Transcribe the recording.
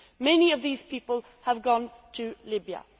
Many of these people have gone to Libya.